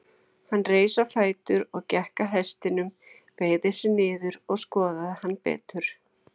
Hann reis á fætur og gekk að hestinum, beygði sig niður og skoðaði hann betur.